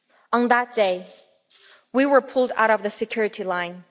On that day, we were pulled out of the security line.